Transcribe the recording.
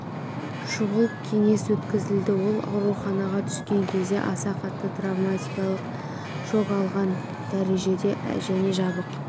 шұғыл кеңес өткізілді ол ауруханаға түскен кезде аса қатты травматикалық шок алған дәрежеде және жабық